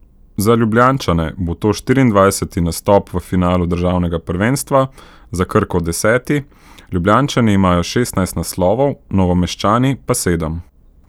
Za Ljubljančane bo to štiriindvajseti nastop v finalu državnega prvenstva, za Krko deseti, Ljubljančani imajo šestnajst naslovov, Novomeščani pa sedem.